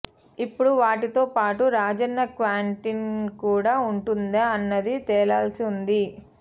ఇప్పుడు వాటితో పాటు రాజన్న క్యాంటిన్ కూడా ఉంటుందా అన్నది తేలాల్సి ఉంది